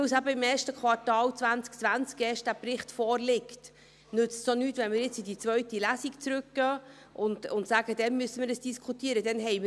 Weil dieser Bericht erst im ersten Quartal vorliegt, nützt es nichts, wenn wir in die zweite Lesung zurückgehen und sagen, dass wir dies dann diskutieren müssen.